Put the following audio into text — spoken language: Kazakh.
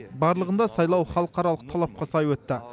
барлығында сайлау халықаралық талапқа сай өтті